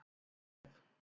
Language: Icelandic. Jósef